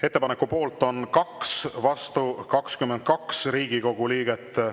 Ettepaneku poolt on 2, vastu 22 Riigikogu liiget.